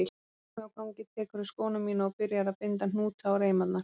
Frammi á gangi tekurðu skóna mína og byrjar að binda hnúta á reimarnar.